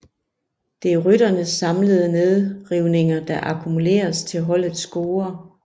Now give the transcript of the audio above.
Det er rytternes samlede nedrivninger der akkumuleres til holdets score